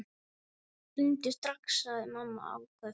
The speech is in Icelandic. Hringdu strax, sagði mamma áköf.